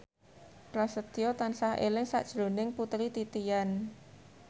Prasetyo tansah eling sakjroning Putri Titian